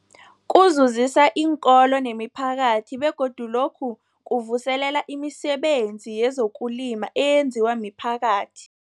Kuzuzisa iinkolo nemiphakathi begodu lokhu kuvuselela imisebenzi yezokulima eyenziwa miphakathi.